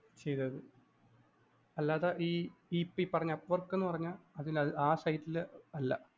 ചെയ്തത്. അല്ലാതെ ഈ ഇപ്പൊ ഈ പറഞ്ഞ appork എന്ന് പറഞ്ഞ ആ site ല്‍ അല്ല.